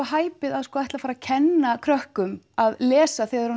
hæpið að ætla að fara að kenna krökkum að lesa þegar